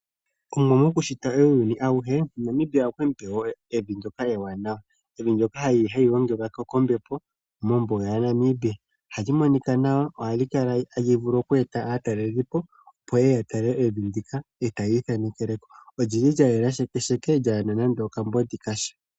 Omuwa mokushita uuyuni auhe, Namibia okwe mu pe evi ndyoka ewanawa. Evi ndyoka hali gongelwa kombepo mombuga yaNamibia. Ohali monika nawa, noha li vulu okukala tali eta aatalelipo, opo ye ye ya tale evi ndika, e tayi ithanekele ko. Oli li lya yela shekesheke kaali na nando okayagaya kasha.